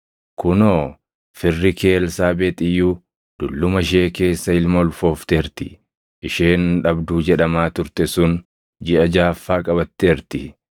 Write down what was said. Kunoo, firri kee Elsaabeexi iyyuu dulluma ishee keessa ilma ulfoofteerti; isheen dhabduu jedhamaa turte sun jiʼa jaʼaffaa qabatteerti.